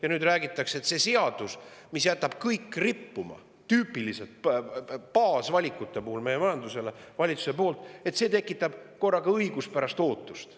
Ja nüüd räägitakse, et see valitsuse seadus, mis jätab meie majanduses kõik rippuma, just tüüpiliste baasvalikute tegemise seisukohast, tekitab korraga õiguspärast ootust.